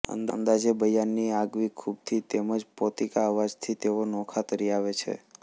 અંદાજે બયાનની આગવી ખૂબીથી તેમ જ પોતીકા અવાજથી તેઓ નોખા તરી આવે છે